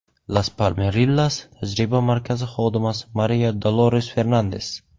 Las Palmerillas tajriba markazi xodimasi Mariya Dolores-Fernandes.